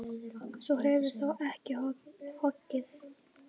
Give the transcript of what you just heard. Þú hefur þó ekki hoggið?